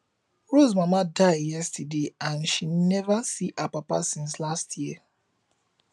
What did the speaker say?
rose mama die yesterday and she never see her papa since last year